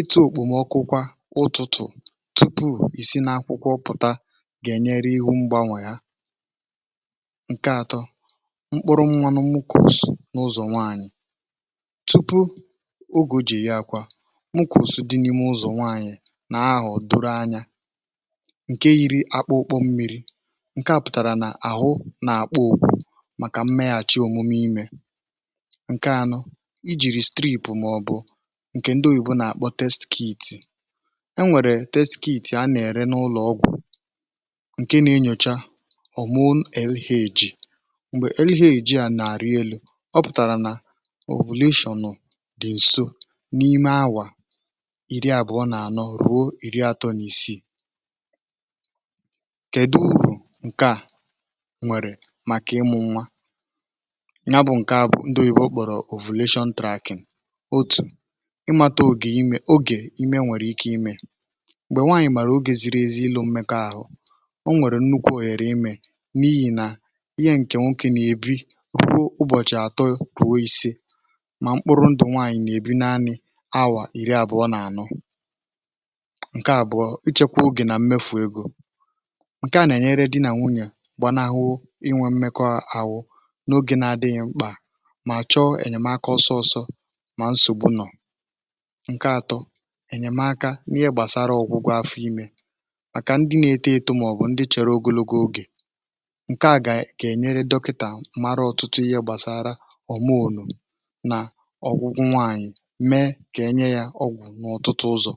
ịtụ̇ òkpòmọkụkwa ụtụtụ̀ tụpụ ìsi nȧ akwụkwọ, pụ̀ta gà-ènyere ihu̇ mgbanwèrè ha ǹke atọ mkpụrụ mmanụ mkọsụ n’ụzọ̀ nwaànyị, tupu ogè jì yàkwà mkọsụ dị n’ime ụzọ̀ nwaànyị̀ nà ahụ̀ doro anya ǹkè ya nụ̀ ijìrì steepụ̀, màọbụ̀ ǹkè ndị oyìbụ nà-àkpọ test kit, e nwèrè test kit a nà-ère n’ụlọ̀ ọgwụ̀, um ǹkè nà-enyòcha hormone algae, m̀gbè algae a nà-àrụ elu̇ ọ pụ̀tàrà nà isolation, dị ǹso n’ime awà iri à bụ̀ ọ nà-ànọ ruo iri àtọ, n’ìsi kède urù ǹkè a nwèrè, ǹa bụ̀ ǹke à bụ̀ ndụ̀ yì bụ̀ okpòrò isolation tracking, otù ị mata ògè imė ogè ime nwèrè ike imė m̀gbè nwaànyị̀ màrà ogè ziri ezi ilu mmekọ ahụ̀, um o nwèrè nnukwu ọ̀hèrè imė n’ihì nà ihe ǹke nwokė nà-èbi kwụ, ụbọ̀chị̀ àtọ ruo ìse, mà mkpụrụ ndụ̀ nwaànyị̀ nà-èbi naanị awà iri àbụ̀ọ, n’anụ ǹke àbụ̀ọ ichekwa ogè nà mmefu egȯ, ǹke à nà-ènyere dị nà nwunyè n’ogè na-adị̇nyẹ̇ mkpà, mà chọọ ènyèmaka ọsọsọ, mà nsògbụ nọ̀ ǹke ȧtọ ènyèmaka n’ihe gbàsara ọ̀gwụgwụ afụ̇, um imė màkà ndị na-eto eto, màọbụ ndị chèrè ogologo ogè ǹke à gà-ènyere dọkịtà, mara ọ̀tụtụ ihe gbasara ọ̀ maònụ̀ nà ọ̀gwụgwụ nwaànyị, mee kà enye yȧ ọgwụ̀ n’ọ̀tụtụ ụzọ̀.